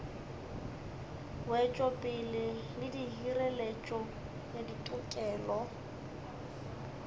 wetšopele le hireletšo ya ditokelo